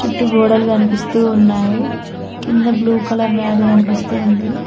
చుట్టూ గోడలు కనిపిస్తూ ఉన్నాయి కింద బ్లూ కలర్ మ్యాట్ కనిపిస్తూ ఉంది.